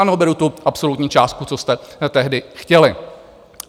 Ano, beru tu absolutní částku, co jste tehdy chtěli.